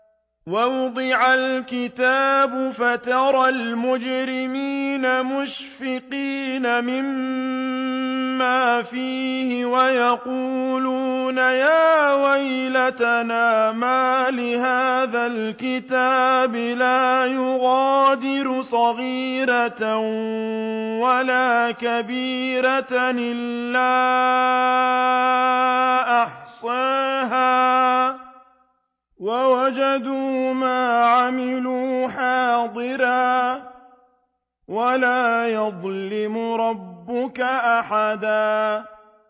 وَوُضِعَ الْكِتَابُ فَتَرَى الْمُجْرِمِينَ مُشْفِقِينَ مِمَّا فِيهِ وَيَقُولُونَ يَا وَيْلَتَنَا مَالِ هَٰذَا الْكِتَابِ لَا يُغَادِرُ صَغِيرَةً وَلَا كَبِيرَةً إِلَّا أَحْصَاهَا ۚ وَوَجَدُوا مَا عَمِلُوا حَاضِرًا ۗ وَلَا يَظْلِمُ رَبُّكَ أَحَدًا